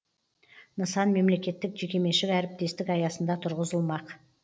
нысан мемлекеттік жекеменшік әріптестік аясында тұрғызылмақ